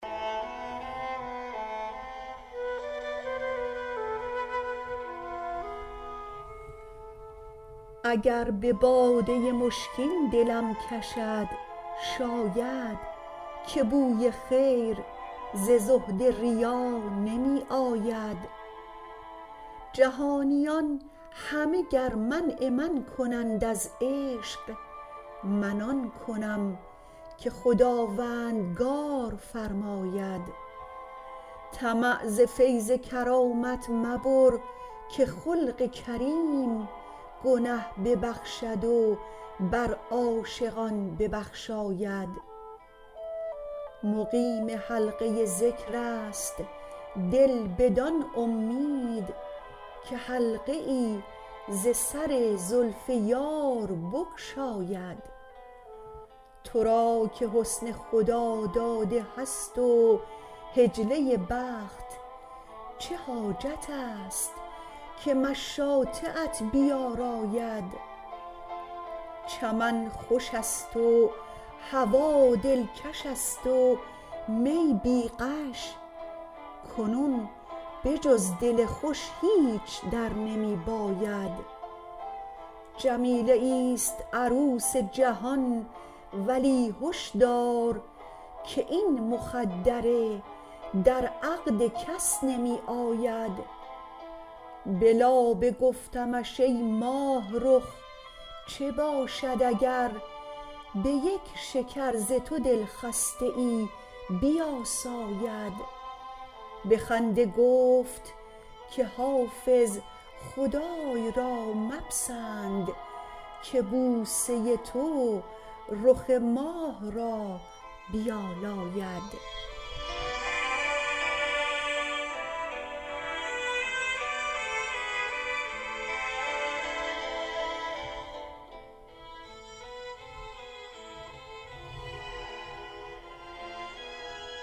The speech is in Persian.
اگر به باده مشکین دلم کشد شاید که بوی خیر ز زهد ریا نمی آید جهانیان همه گر منع من کنند از عشق من آن کنم که خداوندگار فرماید طمع ز فیض کرامت مبر که خلق کریم گنه ببخشد و بر عاشقان ببخشاید مقیم حلقه ذکر است دل بدان امید که حلقه ای ز سر زلف یار بگشاید تو را که حسن خداداده هست و حجله بخت چه حاجت است که مشاطه ات بیاراید چمن خوش است و هوا دلکش است و می بی غش کنون به جز دل خوش هیچ در نمی باید جمیله ایست عروس جهان ولی هش دار که این مخدره در عقد کس نمی آید به لابه گفتمش ای ماهرخ چه باشد اگر به یک شکر ز تو دلخسته ای بیاساید به خنده گفت که حافظ خدای را مپسند که بوسه تو رخ ماه را بیالاید